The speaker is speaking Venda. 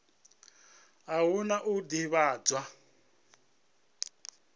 a hu na u ḓivhadzwa